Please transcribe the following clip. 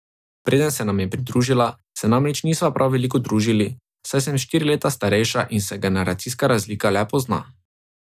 Preden se nam je pridružila, se namreč nisva prav veliko družili, saj sem štiri leta starejša in se generacijska razlika le pozna.